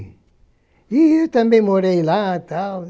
E eu também morei lá e tal.